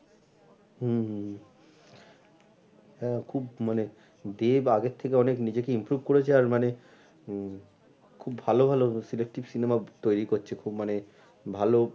হুম হুম হুম হ্যাঁ খুব মানে দেব আগের থেকে অনেক নিজেকে improve করেছে আর মানে হম খুব ভালো ভালো cinema তৈরি করছে খুব মানে ভালো